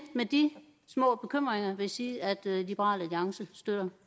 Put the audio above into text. med de små bekymringer vil jeg sige at liberal alliance støtter